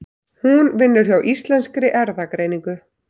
Hún vinnur hjá Íslenskri erfðagreiningu.